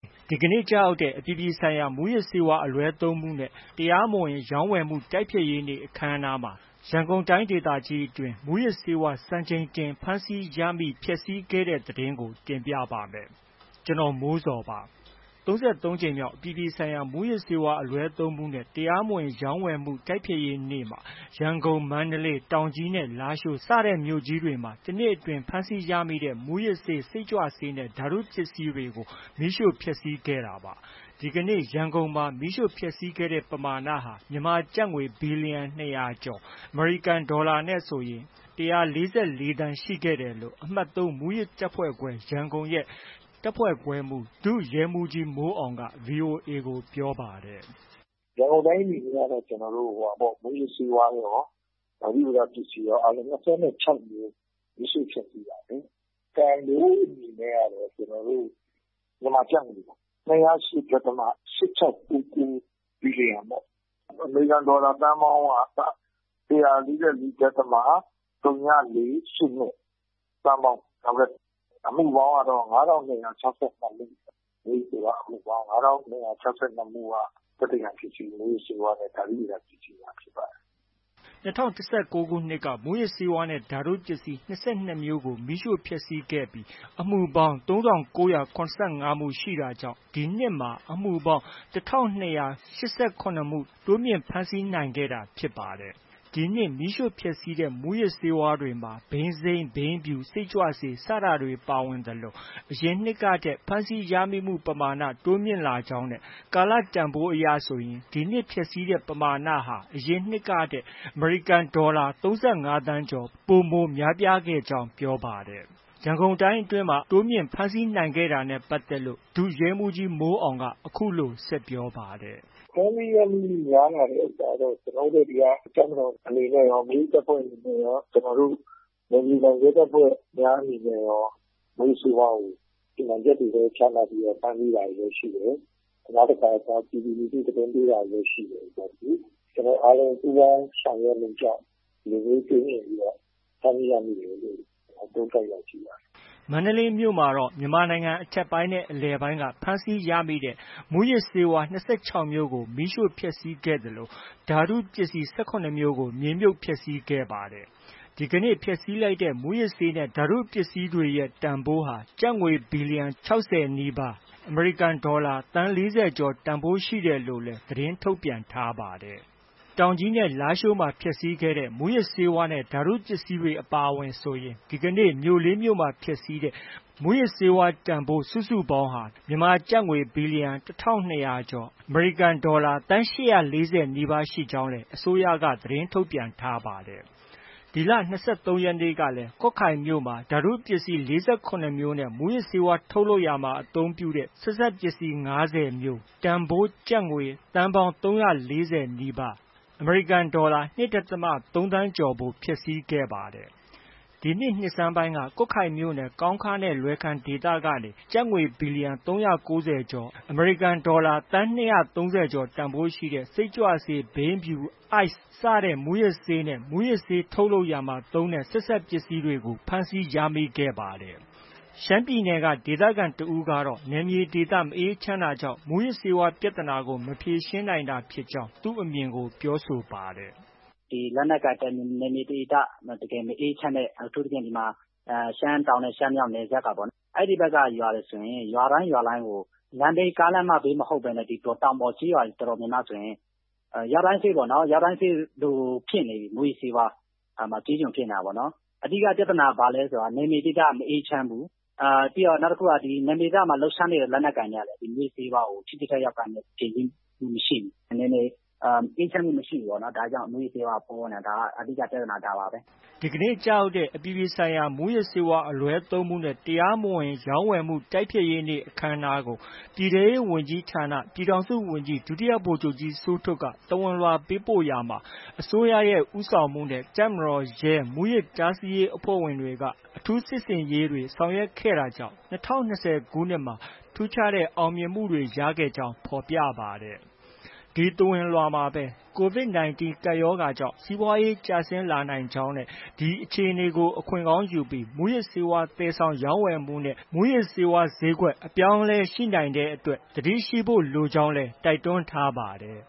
ဒီကနေ့ ကျရောက်တဲ့ အပြည်ပြည်ဆိုင်ရာ မူးယစ်ဆေးဝါးအလွဲသုံးမှုနဲ့ တရားမဝင် တိုက်ဖျက်နေ့အခမ်းအနားမှာ ရန်ကုန်တိုင်းအတွင်း မူးယစ်ဆေးဝါး စံချိန်တင်ဖမ်းဆီးရမိ၊ ဖျက်ဆီးခဲ့တဲ့သတင်းကို ဗွီအိုအေမြန်မာပိုင်းသတင်းထောက် ကိုမိုးဇော်က တင်ပြပေးပါမယ်။ ၃၂ နှစ်မြောက် အပြည်ပြည်ဆိုင်ရာ မူးယစ်ဆေးဝါးအလွဲသုံးမှုနဲ့ တရားမဝင် တိုက်ဖျက်နေ့မှာ ရန်ကုန်၊ မန္တလေး၊ တောင်ကြီးနဲ့ လားရှိုး စတဲ့မြို့ကြီးတွေမှာ တစ်နှစ်အတွင်း ဖမ်းဆီးရမိတဲ့ မူူးယစ်ဆေး၊ စိတ်ကြွဆေးနဲ့ ဓါတုပစ္စည်းတွေကို မီးရှို့ဖျက်ဆီးခဲ့တာပါ။ ဒီကနေ့ ရန်ကုန်မှာ မီးရှို့ဖျက်ဆီးတဲ့ ပမာဏဟာ မြန်မာကျပ်ငွေ ဘီလီယံ ၂၀၀ ကျော်၊ အမေရိကန်ဒေါ်လာနဲ့ဆို ၁၄၄ သန်းကျော် ရှိခဲ့တယ်လို့ အမှတ် ၃ မူးယစ်တပ်ဖွဲ့ခွဲ၊ ရန်ကုန်ရဲ့ တပ်ဖွဲ့ခွဲမှူး ဒုရဲမှူးကြီး မိုးအောင်က VOA ကို ပြောပါတယ်။ “ရန်ကုန်တိုင်းအနေနဲ့ကတော့ ကျနော်တို့ မူးယစ်ဆေးဝါးရော၊ ဓါတုပစ္စည်းရော အားလုံး ၂၀ နဲ့ ၆ မျိုး၊ မီးရှို့ဖျက်ဆီးတာ။ တန်ဖိုးအနေနဲ့ကတော့ မြန်မာကျပ်ငွေ ၂၀၈ ဒသမ ၈၆၉၉ ဘီလီယံပေါ့။ အမေရိကန်ဒေါ်လာ သန်းပေါင်းက ၁၄၄ ဒသမ ဝ,၄၈၂ သန်းပေါင်းပေါ့။ အမှုပေါင်းကတော့ ၅,၂၆၂ မှု၊ မူးယစ်ဆေးဝါးအမှုပေါင်း ၅,၂၆၂ မှုက သက်သေခံပစ္စည်း၊ မူးယစ်ဆေးဝါးနဲ့ ဓါတုဗေဒ ပစ္စည်းတွေ ဖြစ်ပါတယ်။” ၂၀၁၉ ခုနှစ်က မူးယစ်ဆေးဝါးနဲ့ ဓါတုပစ္စည်း ၂၂ မျိုးကို မီးရှို့ဖျက်ဆီးခဲ့ပြီး အမှုပေါင်း ၃,၉၇၅ မှု ရှိတာကြောင့် ဒီနှစ်မှာ အမှုပေါင်း ၁,၂၈၇ မှု တိုးမြင့်ဖမ်းဆီးနိုင်ခဲ့တာဖြစ်ပါတယ်။ ဒီနှစ် မီးရှို့ဖျက်ဆီးတဲ့ မူးယစ်ဆေးဝါးတွေမှာ ဘိန်းစိမ်း၊ ဘိန်းဖြူ၊ စိတ်ကြွဆေး စတာတွေ ပါဝင်သလို အရင်နှစ်ကထက် ဖမ်းဆီးရမိမှု ပမာဏ တိုးမြင့်လာကြောင်းနဲ့ ကာလတန်ဖိုးအရဆိုရင် ဒီနှစ်ဖျက်ဆီးတဲ့ ပမာဏဟာ အရင်နှစ်ကထက် အမေရိကန်ဒေါ်လာ ၃၅ သန်းကျော် ပိုမိုများပြားခဲ့ကြောင်း ပြောပါတယ်။ ရန်ကုန်တိုင်းအတွင်းမှာ အခုလို တိုးမြင့် ဖမ်းဆီးနိုင်ခဲ့တာနဲ့ ပတ်သက်လို့ ဒုရဲမှူးကြီး မိုးအောင်က အခုလို ဆက်ပြောပါတယ်။ “ဖမ်းဆီးရမိမှုများလာတဲ့ ဥစ္စာတော့ ကျနော်တို့ ဒီက တပ်မတော်အနေနဲ့ရော၊ မိမိတပ်ဖွဲ့အနေနဲ့ရော၊ ကျနော်တို့ နယ်မြေခံ ရဲတပ်ဖွဲ့များအနေနဲ့ရော မူးယစ်ဆေးဝါးကို စီမံချက်တွေ ချမှတ်ပြီး ဖမ်းဆီးတာတွေလည်း ရှိတယ်။ နောက်တခါ ပြည်သူလူထု သတင်းပေးတာတွေလည်း ရှိတယ်။ ကျနော်တို့အားလုံး ပူးပေါင်းဆောင်ရွက်မှုကြောင့် ဒီလိုမျိုး တိုးမြင့်ပြီးတော့ ဖမ်းဆီးရမိတယ်လို့ သုံးသပ်ရရှိပါတယ်။ ” မန္တလေးမြို့မှာတော့ မြန်မာနိုင်ငံအထက်ပိုင်းနဲ့ အလယ်ပိုင်းက ဖမ်းဆီးရမိတဲ့ မူးယစ်ဆေးဝါး၂၆ မျိုးကို မီးရှို့ဖျက်ဆီးခဲ့သလို ဓါတုပစ္စည်း ၁၇ မျိုးကို မြေမြှုပ်ဖျက်ဆီးခဲ့ပါတယ်။ ဒီဖျက်ဆီးလိုက်တဲ့ မူးယစ်ဆေးနဲ့ ဓါတုပစ္စည်းတွေရဲ့ ပမာဏဟာ ကျပ်ငွေ ဘီလီယံ ၆၀ နီးပါး၊ အမေရိကန်ဒေါ်လာငွေ သန်း ၄၀ ကျော်ဖိုးရှိတယ်လို့လည်း သတင်းထုတ်ပြန်ထားပါတယ်။ တောင်ကြီးနဲ့ လားရှိုးမှာ ဖျက်ဆီးခဲ့တဲ့ မူးယစ်ဆေးနဲ့ ဓါတုပစ္စည်းတွေအပါအဝင်ဆိုရင်ဒီကနေ့ မြို့ လေး မြို့မှာ ဖျက်ဆီးတဲ့ မူးယစ်ဆေးဝါးတန်ဖိုး စုစုပေါင်းဟာ မြန်မာငွေ ဘီလီယံ ၁,၂၀၀ ကျော်၊ အမေရိကန်ဒေါ်လာ သန်း ၈၄၀ နီးပါးရှိကြောင်းလည်း အစိုးရက သတင်းထုတ်ပြန်ထားပါတယ်။ ဒီလ ၂၃ရက်နေ့ကလည်း ကွတ်ခိုင်မြို့မှာ ဓာတုပစ္စည်း ၄၇ မျိုးနဲ့ မူးယစ်ဆေးဝါး ထုတ်လုပ်ရာတွင်အသုံးပြုသည့် ဆက်စပ်ပစ္စည်း ၅ဝ မျိုး တန်ဖိုး ကျပ်ငွေ သန်းပေါင်း ၃၄၀ နီးပါး၊ (အမေရိကန်ဒေါ်လာ ၂.၃ သန်းကျော်) ဖျက်ဆီးခဲ့ပါတယ်။ ဒီနှစ် နှစ်ဆန်းပိုင်းက ကွတ်ခိုင်မြို့နယ် ကောင်းခါးနဲ့ လွယ်ခန်ဒေသကနေ ကျပ်ငွေ ဘီလီယံ ၃၉၀ ကျော်၊ အမေရိကန်ဒေါ်လာ သန်း ၂၃၀ ကျော်ဖိုးရှိတဲ့ စိတ်ကြွဆေး၊ ဘိန်းဖြူ၊ Ice စတဲ့ မူးယစ်ဆေးနဲ့ မူးယစ်ဆေး ထုတ်လုပ်ရာမှာ သုံးတဲ့ ဆက်စပ်ပစ္စည်းတွေ ဖမ်းဆီးရမိခဲ့တာဖြစ်ပါတယ်။ ရှမ်းပြည်နယ်က ဒေသခံတစ်ဦးကတော့ နယ်မြေဒေသ မအေးချမ်းတာကြောင့် မူးယစ်ဆေးဝါးပြဿနာကို မဖြေရှင်းနိုင်တာဖြစ်ကြောင်း သူ့အမြင်ကို ပြောဆိုထားပါတယ်။ “လက်နက်ကိုင်နယ်မြေဒေသ တကယ်မအေးချမ်းတဲ့ အထူးသဖြင့် ရှမ်းတောင်နဲ့ ရှမ်းမြောက် နယ်စပ်က အဲဒီဘက်က ရွာတွေ ဆိုရင် ရွာတိုင်း၊ ရွာတိုင်းကို ကားလမ်းမဘေးမဟုတ်ဘဲနဲ့ တောင်ပေါ်ကျေးရွာတွေဆိုရင် ရွာတိုင်းစေ့ပေါ့နော်။ ရွာတိုင်းစေ့လိုဖြစ်နေပြီ မူးယစ်ဆေးဝါးကျေးကျွန်ဖြစ်နေတာ၊ အဓိက ပြဿနာက ဘာလဲဆိုရင် နယ်မြေဒေသ မအေးချမ်းဘူး။ နောက် နယ်မြေဒေသမှာ လှုပ်ရှားနေတဲ့ လက်နက်ကိုင်တွေကလည်း မူးယစ်ဆေးဝါးကို ထိထိရောက်ရောက် ဖြေရှင်းမှု မရှိဘူး။ နယ်မြေအေးချမ်းမှု မရှိဘူးပေါ့နော်။ ဒါကြောင့် မူးယစ်ဆေးဝါးက ပေါနေတာ။ အဓိက ပြဿနာ ဒါပါပဲ။” ဒီကနေ့ ကျရောက်တဲ့ အပြည်ပြည်ဆိုင်ရာ မူးယစ်ဆေးဝါးအလွဲသုံးမှုနဲ့ တရားမဝင် တိုက်ဖျက်နေ့အခမ်းအနားကို ပြည်ထဲရေးဝန်ကြီးဌာန ပြည်ထောင်စုဝန်ကြီး ဒုတိယဗိုလ်ချုပ်ကြီး စိုးထွဋ်က သဝဏ်လွှာပေးပို့ခဲ့ရာမှာ အစိုးရဦးဆောင်မှုနဲ့ တပ်မတော်၊ ရဲ၊ မူးယစ်တားဆီးရေးအဖွဲ့တွေ က အထူးစစ်ဆင်ရေးတွေ ဆောင်ရွက်ခဲ့တာကြောင့် ၂၀၂၀ခုနှစ်မှာ ထူးခြားတဲ့ အောင်မြင်မှုတွေ ရရှိခဲ့ကြောင်း ဖော်ပြခဲ့ပါတယ်။ အဲဒီသဝဏ်လွှာမှာပဲ COVID 19 ကပ်ရောဂါကြောင့် စီးပွားရေး ကျဆင်းလာနိုင်ကြောင်းနဲ့ အဲဒီအခြေအနေကို အခွင့်ကောင်းယူပြီး မူးယစ်ဆေးဝါး သယ်ဆောင်ရောင်းဝယ်မှုနဲ့ မူးယစ်ဆေးဝါးဈေးကွက် အပြောင်းအလဲရှိနိုင်တဲ့အတွက် သတိရှိဖို့လိုကြောင်းလည်း တိုက်တွန်းထားပါတယ်